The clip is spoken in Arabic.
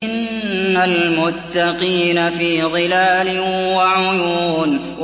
إِنَّ الْمُتَّقِينَ فِي ظِلَالٍ وَعُيُونٍ